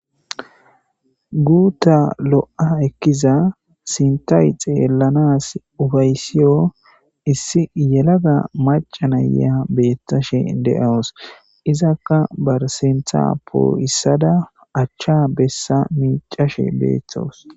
guuta lo7a ekkiza sintayi xeellanas ufaysiyo issi yelaga macanaya beettashe de7awos izakka barsintha poo7issada achcha bessa miicashe beethtos